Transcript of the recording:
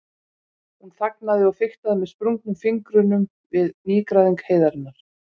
Hún þagnaði og fiktaði með sprungnum fingrum við nýgræðing heiðarinnar.